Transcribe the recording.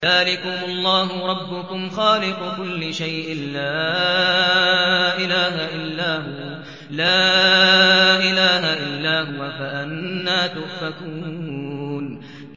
ذَٰلِكُمُ اللَّهُ رَبُّكُمْ خَالِقُ كُلِّ شَيْءٍ لَّا إِلَٰهَ إِلَّا هُوَ ۖ فَأَنَّىٰ تُؤْفَكُونَ